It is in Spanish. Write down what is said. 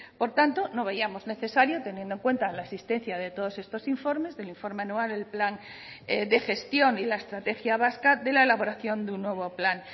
por tanto no veíamos necesario teniendo en cuenta la existencia de todos estos informes del informe anual el plan de gestión y la estrategia vasca de la elaboración de un nuevo plan